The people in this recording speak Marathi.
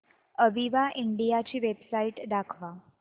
अविवा इंडिया ची वेबसाइट दाखवा